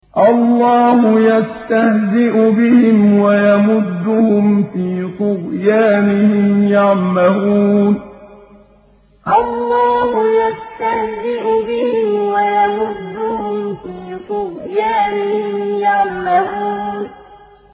اللَّهُ يَسْتَهْزِئُ بِهِمْ وَيَمُدُّهُمْ فِي طُغْيَانِهِمْ يَعْمَهُونَ اللَّهُ يَسْتَهْزِئُ بِهِمْ وَيَمُدُّهُمْ فِي طُغْيَانِهِمْ يَعْمَهُونَ